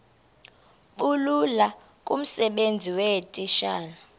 bulula kumsebenzi weetitshala